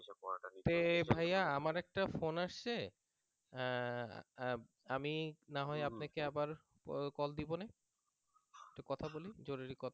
তে ভাইয়া আমার একটা phone আসছে আমি না হয় আপনাকে আবার পরে call দিবনে একটু কথা বলি জরুরী কথা